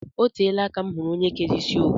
Oteela aka m hụrụ ónyé kéré isi owu